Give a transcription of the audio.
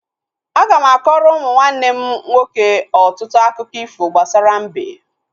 Aga m akọrọ ụmụ nwanne m nwoke ọtụtụ akụkọ ifo gbasara mbe